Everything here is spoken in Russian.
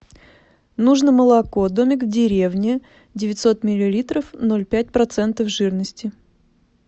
нужно молоко домик в деревне девятьсот миллилитров ноль пять процентов жирности